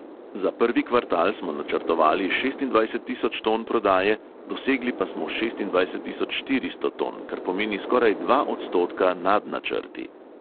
Za prvi kvartal smo načrtovali šestindvajset tisoč ton prodaje, dosegli pa smo šestindvajset tisoč štiristo ton, kar pomeni skoraj dva odstotka nad načrti.